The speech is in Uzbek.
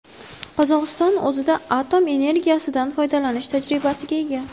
Qozog‘iston o‘zida atom energetikasidan foydalanish tajribasiga ega.